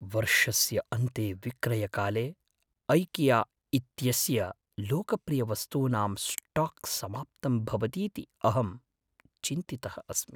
वर्षस्य अन्ते विक्रयकाले ऐकिया इत्यस्य लोकप्रियवस्तूनां स्टाक् समाप्तं भवतीति अहं चिन्तितः अस्मि।